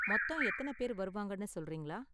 மொத்தம் எத்தன பேர் வருவாங்கனு சொல்றீங்களா?